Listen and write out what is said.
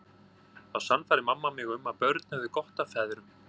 Þá sannfærði mamma mig um að börn hefðu gott af feðrum.